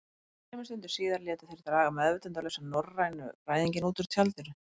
Þremur stundum síðar létu þeir draga meðvitundarlausan norrænufræðinginn út úr tjaldinu.